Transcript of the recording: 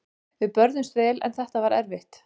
Við börðumst vel en þetta var erfitt.